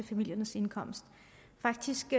familiernes indkomst faktisk